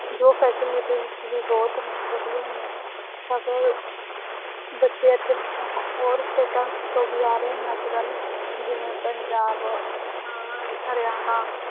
ਜੋ facilities ਵੀ ਬਹੁਤ ਨੇ ਵਧੀਆ ਨੇ ਬੱਚੇ ਇੱਥੇ ਹੋਰ ਸਟੇਟਾਂ ਤੋਂ ਵੀ ਆ ਰਹੇ ਨੇ ਅੱਜ ਕੱਲ੍ਹ ਜਿਵੇਂ ਪੰਜਾਬ ਅਹ ਹਰਿਆਣਾ।